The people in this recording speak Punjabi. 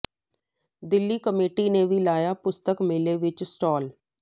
ਦਿੱਲੀ ਕਮੇਟੀ ਨੇ ਵੀ ਲਗਾਇਆ ਪੁਸਤਕ ਮੇਲੇ ਵਿੱਚ ਸਟਾਲ